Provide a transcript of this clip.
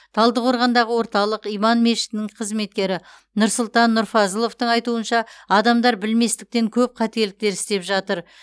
талдықорғандағы орталық иман мешітінің қызметкері нұрсұлтан нұрфазыловтың айтуынша адамдар білместіктен көп қателіктер істеп жатыр